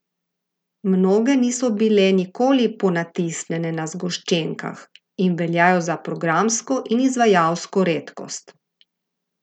Mnoge niso bile nikoli ponatisnjene na zgoščenkah in veljajo za programsko in izvajalsko redkost!